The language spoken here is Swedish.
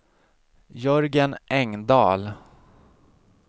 Jörgen Engdahl